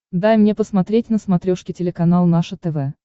дай мне посмотреть на смотрешке телеканал наше тв